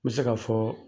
N bɛ se ka fɔ